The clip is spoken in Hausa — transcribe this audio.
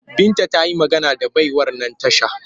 Binta ta yi magana da baiwar nan tasha